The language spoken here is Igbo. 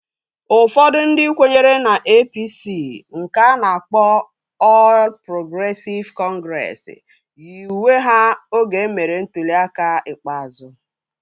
Ụfọdụ ndị kwenyere na APC nke a na-akpọ Ọl Progresịv Kọngresi yi uwe ha oge emere ntụli aka ikpeazụ